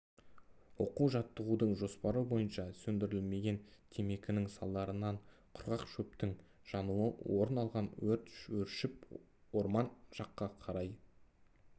оқу-жаттығудың жоспары бойынша сөндірілмеген темекінің салдарынан құрғақ шөптің жануы орын алған өрт өршіп орман жаққа қарай